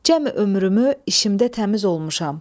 Cəmi ömrümü işimdə təmiz olmuşam.